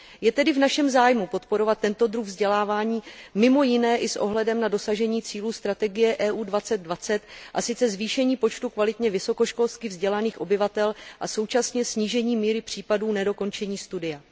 Je tedy v našem zájmu podporovat tento druh vzdělávání, mimo jiné i s ohledem na dosažení cílů strategie EU 2020, a sice zvýšení počtu kvalitně vysokoškolsky vzdělaných obyvatel a současně snížení míry případů nedokončení studia.